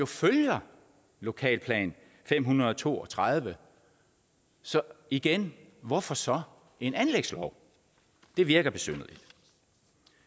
følger lokalplan fem hundrede og to og tredive så igen hvorfor så en anlægslov det virker besynderligt